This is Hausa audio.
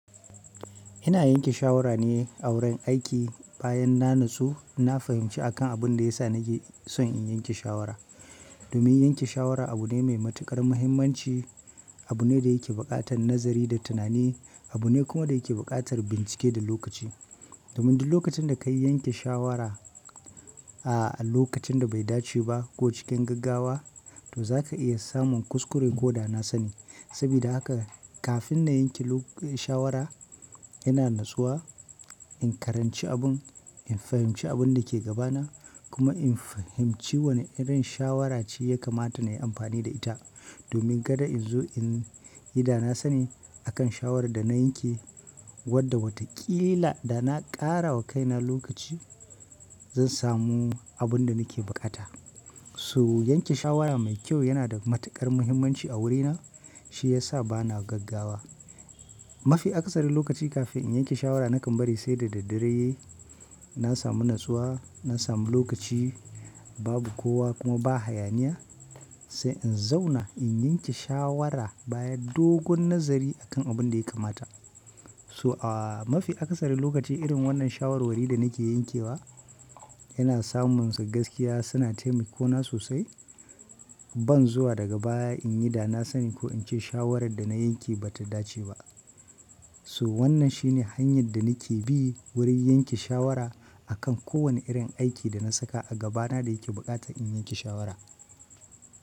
Ina yanke shawara ne a wurin aiki. Bayan na nasu, na fahimci akan abin da ya sa na ke son in yanke shawara. Domin yanke shawara abu ne mai matuƙar muhimmanci, abu ne da yake buƙatar nazari da tunani. Abu ne kuma da yake buƙatar bincike da lokaci. Domin duk lokacin da ka yi yanke shawara a lokacin da bai dace ba ko cikin gaggawa, to za ka iya samun kuskure ko danasani. Saboda haka kafin na yanke shawara, ina nasuwa in karanci abun, in fahimci abun da ke gabana kuma in fahimci wane irin shawara ce ya kamata na yi amfani da ita. Domin kada in zo in yi danasani akan shawarar da na yanke wadda watakila da na ƙara wa kaina lokaci, zan samu abun da nake buƙata. So yanke shawara mai kyau yana da matuƙar muhimmanci a wurina, shi ya sa bana gaggawa. Mafi akasari lokaci kafin in yanke shawara nakan bari sai da daddare. Na sami nasuwa, na sami lokaci, babu kowa kuma ba hayaniya, sai in zauna in yanke shawara bayan dogon nazari akan abun da ya kamata. So a mafi akasari lokaci irin wannan shawarwari da nake yankewa yana samunsa gaskiya suna taimiko na sosai. Ban zuwa daga baya in yi danasani ko in ce shawarar da na yanke ba ta dace ba. So wannan shi ne hanyar da nake bi wurin yanke shawara a kan kowane irin aiki da na saka a gabana da yake buƙatar in yanke shawara.